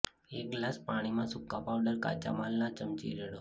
એક ગ્લાસ પાણીમાં સૂકા પાવડર કાચા માલના ચમચી રેડો